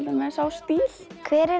dæmis á stíl hver er